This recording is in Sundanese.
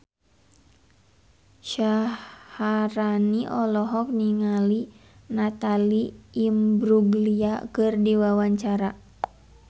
Syaharani olohok ningali Natalie Imbruglia keur diwawancara